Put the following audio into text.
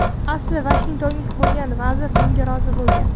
Asli vashingtonlik bo‘lgan vazir bunga rozi bo‘lgan.